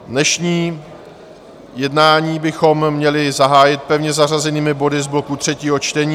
Dnešní jednání bychom měli zahájit pevně zařazenými body z bloku třetího čtení.